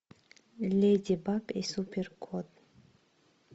леди баг и супер кот